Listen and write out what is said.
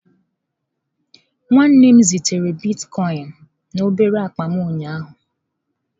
Nwanne m zitere bitkọin na obere akpa m ụnyaahụ.